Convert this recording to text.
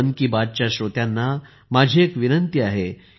मन की बातच्या श्रोत्यांनाही माझी एक विनंती आहे